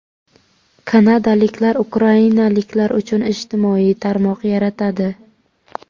Kanadaliklar ukrainaliklar uchun ijtimoiy tarmoq yaratadi.